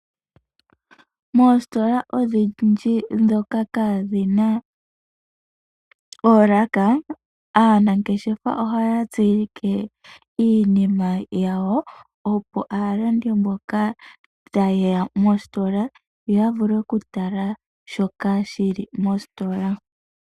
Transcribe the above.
Moositola odhindji dhoka kaadhina ooraka, aanangeshefa oha ya tsilike iinima yawo opo, aalandi mbono ta yeya mOsitola ya mone shoka shili mOsitola.